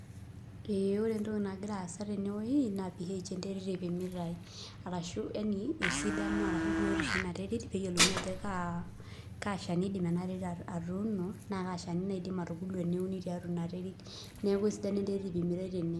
Ee ore entoki nagira aasa tene woi naa ph enterit ipimitai arashu yaani esidano arashu biotishu ina terit peeyiolouni ajo kaa kaa shani iidim ena terit atuuno naa kaa shani naidim atubulu eniun tiatua ina terit. Neeku esidano enterit ipimitai tene